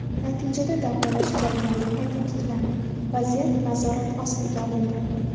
Natijada davolash jarayoni qayta tiklandi, vaziyat nazorat ostiga olindi.